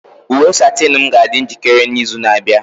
Uwe satinu m ga-adị njikere n'izu na-abịa.